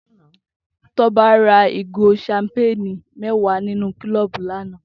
Toba rà igó ṣàmpéni mẹ̀waá ninú kulọbú lànã